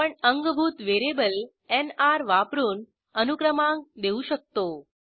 आपण अंगभूत variable NR वापरून अनुक्रमांक देऊ शकतो